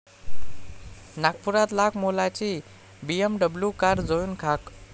नागपुरात लाखमोलाची BMW car जळून खाक